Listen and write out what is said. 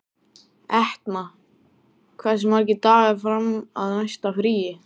Etna, hversu margir dagar fram að næsta fríi?